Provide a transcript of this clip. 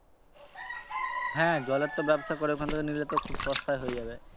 হ্যা জলের তো ব্যবসা করে ওখান থেকে নিলে তো খুব সস্তায় হয়ে যাবে।